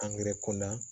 Angɛrɛ ko na